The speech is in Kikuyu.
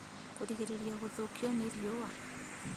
Kũrigĩrĩrĩa gũthũkio nĩ riũa